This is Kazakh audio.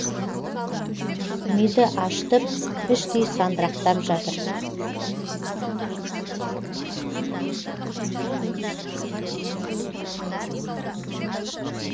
миды ашытып іштей сандырақтап жатыр